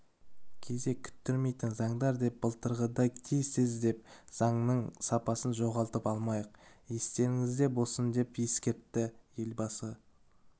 кезек күттірмейтін заңдар деп былтырғыдай тез-тез деп заңның сапасын жоғалтып алмайық естеріңізде болсын деп ескертті елбасы